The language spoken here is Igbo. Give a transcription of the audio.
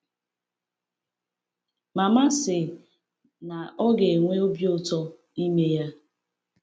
Mama sị na ọ ga-enwe obi ụtọ ime ya.